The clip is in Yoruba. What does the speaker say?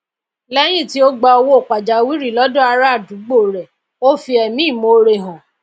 léyìn tí o gba owó pàjáwìrì lódò ará àdúgbò rè o fi èmí ìmore hàn